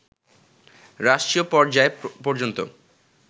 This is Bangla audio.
রাষ্ট্রীয় পর্যায় পর্যন্ত